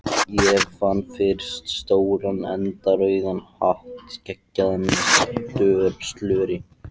Ég fann fyrst stóran eldrauðan hatt geggjaðan, með slöri.